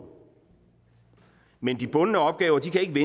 men de bundne opgaver kan ikke